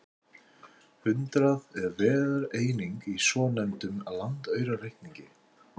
Hundrað er verðeining í svonefndum landaurareikningi.